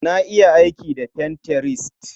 Na iya aiki da Pinterest.